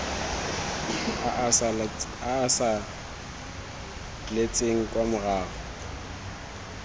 a a saletseng kwa morago